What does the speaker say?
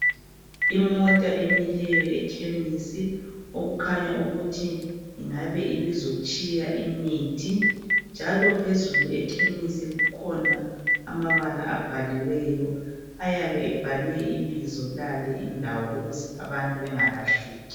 Imota emileyo ekhemisi okukhanya ukuthi ibizotshiya imithi njalo phezulu ekhemisi kukhona amabala abhaliweho ayabe ebhalwe ibizo làle indawo ukuze abantu bengalahleki.